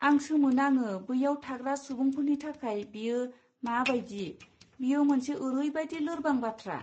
आं सोमो नाङो बैयाव थाग्रा सुबुंफोरनि थाखाय बेयो मा बायदि, बेयो मोनसे ओरैबादि लोरबां बाथ्रा!